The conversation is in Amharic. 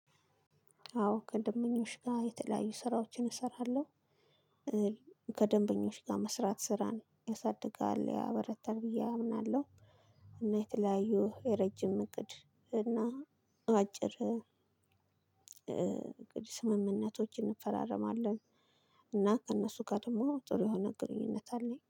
አዎ ከደንበኞች ጋር የተለያዩ ስራዎችን እሰራለሁ። ከደንበኞች ጋር መስራት ስራን ያሳድጋል ያበረታል ብዬ አምናለሁ። እና የተለያዩ የረጅም እቅድ እና አጭር እቅድ ስምምነቶች እንፈራረማለን። እና ከእነሱ ጋር ደግሞ ጥሩ የሆነ ግንኙነት አለኝ